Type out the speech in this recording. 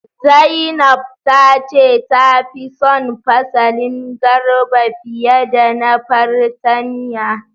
Zainab ta ce tafi son fasalin garba fiye da na fartanya.